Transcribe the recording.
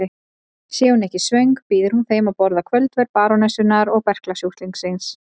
Sé hún ekki svöng býður hún þeim að borða kvöldverð barónessunnar og berklasjúklingsins.